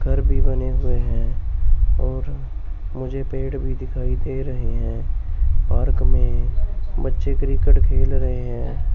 घर भी बने हुए है और मुझे पेड़ भी दिखाई दे रहे हैं। पार्क में बच्चे क्रिकेट खेल रहे हैं।